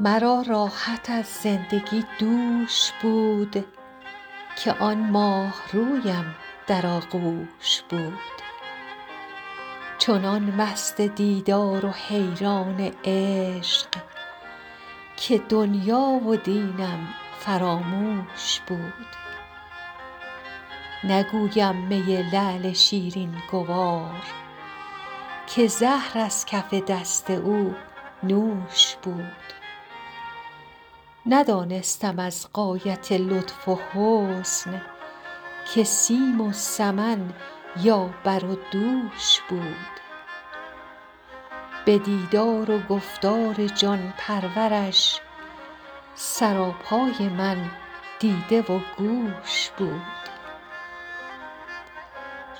مرا راحت از زندگی دوش بود که آن ماهرویم در آغوش بود چنان مست دیدار و حیران عشق که دنیا و دینم فراموش بود نگویم می لعل شیرین گوار که زهر از کف دست او نوش بود ندانستم از غایت لطف و حسن که سیم و سمن یا بر و دوش بود به دیدار و گفتار جان پرورش سراپای من دیده و گوش بود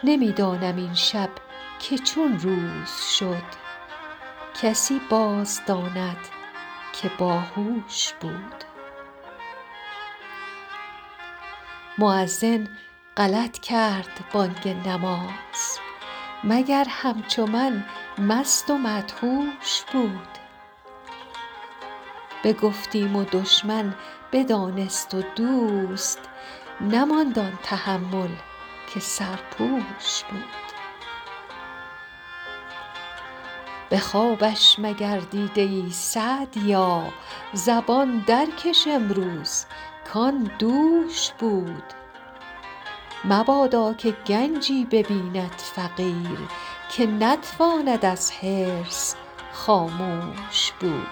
نمی دانم این شب که چون روز شد کسی باز داند که با هوش بود مؤذن غلط کرد بانگ نماز مگر همچو من مست و مدهوش بود بگفتیم و دشمن بدانست و دوست نماند آن تحمل که سرپوش بود به خوابش مگر دیده ای سعدیا زبان در کش امروز کآن دوش بود مبادا که گنجی ببیند فقیر که نتواند از حرص خاموش بود